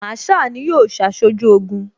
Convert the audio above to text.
Masaa ni yóò ṣaṣojú Ogun